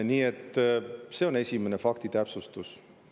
Nii et see on esimene faktitäpsustus.